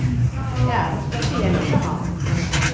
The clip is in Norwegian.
Det er noe spesielt med ham.